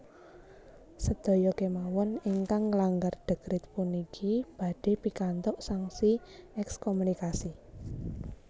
Sedaya kemawon ingkang nglanggar dekrit puniki badhé pikantuk sanksi ekskomunikasi